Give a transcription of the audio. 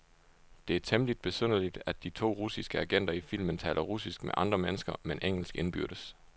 Det er temmeligt besynderligt, at de to russiske agenter i filmen taler russisk med andre mennesker, men engelsk indbyrdes.